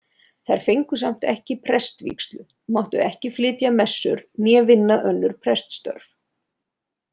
Þær fengu samt ekki prestvígslu, máttu ekki flytja messur né vinna önnur preststörf.